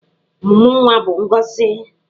Ọmụmụ nwa bụ ngọzị.